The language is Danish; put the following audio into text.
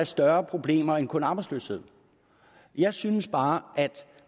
større problemer end kun arbejdsløshed jeg synes bare at